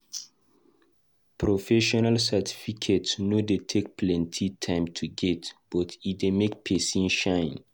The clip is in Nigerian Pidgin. Professional certificate no dey take plenty time to get but e dey make pesin shine.